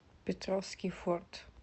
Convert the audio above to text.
петровский форт